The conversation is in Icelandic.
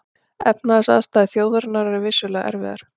Efnahagsaðstæður þjóðarinnar eru vissulega erfiðar